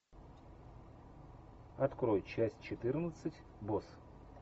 открой часть четырнадцать босс